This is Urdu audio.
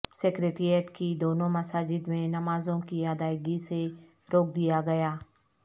سکریٹریٹ کی دونوں مساجد میں نمازوں کی ادائیگی سے روک دیاگیا